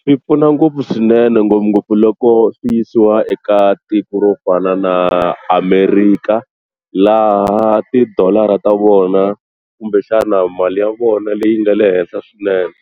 Swi pfuna ngopfu swinene ngopfungopfu loko swi yisiwa eka tiko ro fana na America laha tidolara ta vona kumbexana mali ya vona leyi nga le henhla swinene